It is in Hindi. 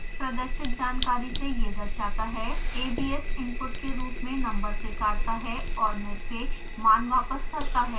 प्रदर्शित जानकारी से यह दर्शाता है abs इनपुट के रूप में नंबर स्वीकारता है और निरपेक्ष मान वापस करता है